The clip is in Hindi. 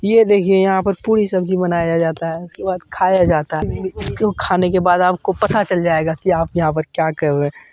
ये देखिए यहाँ पर पूरी सब्जी बनाया जाता हैं उसके बाद खाया जाता है उसको खाने का बाद आपको पता चल जाएगा की आप यहाँ पर क्या कर रहे है।